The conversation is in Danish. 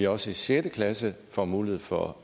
også i sjette klasse får mulighed for